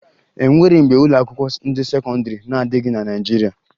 E nwere mgbe ụlọakwụkwọ ndị sekọndịrị na-adịghị na Naịjirịa